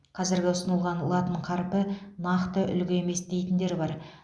қазіргі ұсынылған латын қарпі нақты үлгі емес дейтіндер бар